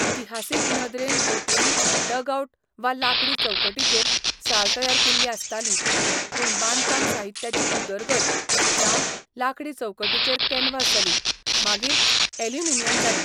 इतिहासीक नदरेन बोटींनी डगआउट वा लांकडी चौकटीचेर साल तयार केल्लीं आसतालीं, पूण बांदकाम साहित्याची उदरगत जावन लांकडी चौकटीचेर कॅनव्हास जाली, मागीर ऑल्युमिनियम जाली.